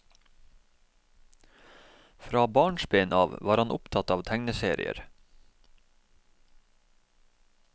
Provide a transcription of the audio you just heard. Fra barnsben av var han opptatt av tegneserier.